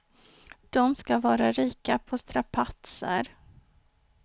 De ska vara rika på strapatser.